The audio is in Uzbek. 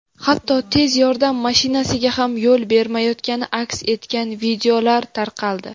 hatto tez yordam mashinasiga ham yo‘l bermayotgani aks etgan videolar tarqaldi.